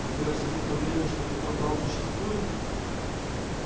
так вы абсолютно уверены что такой план существует